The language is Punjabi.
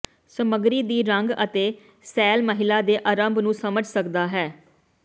ਸਮੱਗਰੀ ਦੀ ਰੰਗ ਅਤੇ ਸੈੱਲ ਮਹਿਲਾ ਦੇ ਆਰੰਭ ਨੂੰ ਸਮਝ ਸਕਦਾ ਹੈ